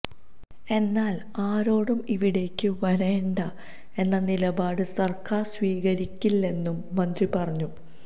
എന്നാല് ആരോടും ഇവിടേയ്ക്ക് വരേണ്ട എന്ന നിലപാട് സര്ക്കാര് സ്വീകരിക്കില്ലെന്നും മന്ത്രി പറഞ്ഞു